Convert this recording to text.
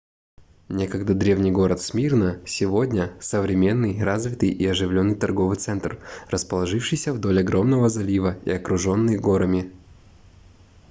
некогда древний город смирна сегодня современный развитый и оживленный торговый центр расположившийся вдоль огромного залива и окруженный горами